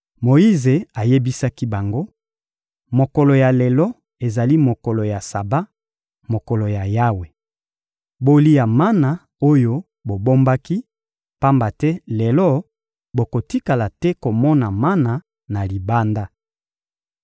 Moyize ayebisaki bango: — Mokolo ya lelo ezali mokolo ya Saba, mokolo ya Yawe. Bolia mana oyo bobombaki; pamba te lelo, bokotikala te komona mana na libanda.